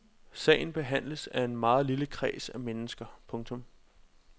Sagen behandles af en meget lille kreds af mennesker. punktum